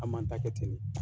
An man ta kɛ ten